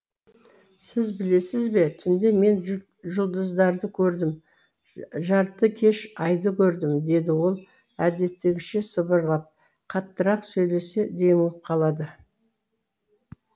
сіз білесіз бе түнде мен жұлдыздарды көрдім жартыкеш айды көрдім деді ол әдеттегіше сыбырлап қаттырақ сөйлесе демігіп қалады